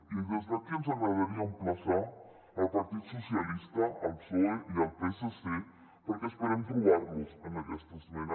i des d’aquí ens agradaria emplaçar el partit socialista el psoe i el psc perquè esperem trobar los en aquesta esmena